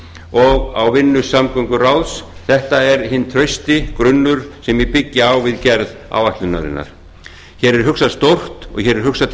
og á vinnu samgönguráðs þetta er hinn trausti grunnur sem ég byggi á við gerð áætlunarinnar hér er hugsað stórt og hér er hugsað til